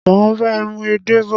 mà á bá ẹ mú “edé” bọ̀.